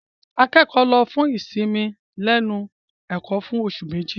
Akẹ́kọ̀ọ́ lọ fún ìsinmi lẹ́nu ẹ̀kọ́ fún oṣù Méjì.